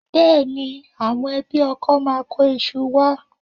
Bẹ́ẹ̀ni, àwọn ẹbí ọkọ máa kó iṣu wá